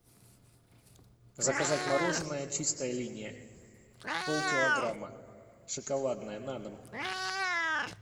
заказать мороженое чистая линия полкилограмма шоколадное на дом